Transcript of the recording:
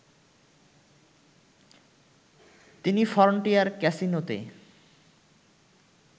তিনি ফ্রনটিয়ার ক্যাসিনোতে